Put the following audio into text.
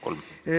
Kolm, palun!